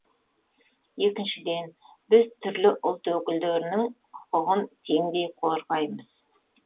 екіншіден біз түрлі ұлт өкілдерінің құқығын теңдей қорғаймыз